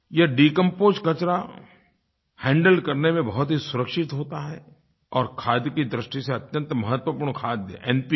यह डिकंपोज्ड कचरा हैंडल करने में बहुत ही सुरक्षित होता है और खाद की दृष्टि से अत्यंत महत्वपूर्ण खाद एनपीके